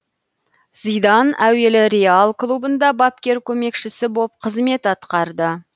зидан әуелі реал клубында бапкер көмекшісі боп қызмет атқарды